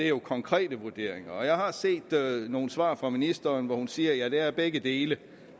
jo er konkrete vurderinger jeg har set nogle svar fra ministeren hvor hun siger at det er begge dele